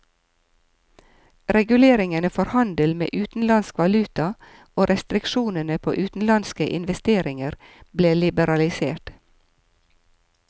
Reguleringene for handel med utenlandsk valuta og restriksjonene på utenlandske investeringer ble liberalisert.